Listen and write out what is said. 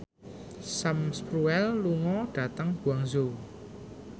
Sam Spruell lunga dhateng Guangzhou